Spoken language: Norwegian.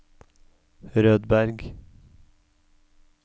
Rødberg